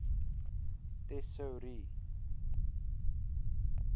tesourie